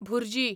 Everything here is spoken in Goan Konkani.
भुर्जी